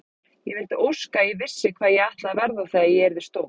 Ég vildi óska að ég vissi hvað ég ætlaði að verða þegar ég verð stór.